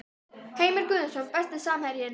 Heimir Guðjónsson Besti samherjinn?